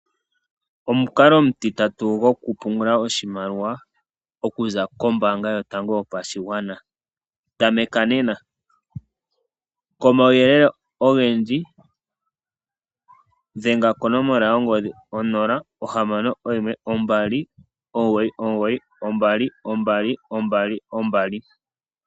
Omukalo omu titatu gokupungula oshimaliwa okuza kombaanga yotango yopashigwana. Tameka nena . Komauyelele ogendji dhenga konomola yongodhi 061 2992222